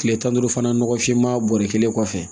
Kile tan ni duuru fana nɔgɔ finma bɔrɔ kelen kɔfɛ